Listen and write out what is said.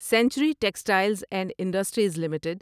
century textiles and industries limited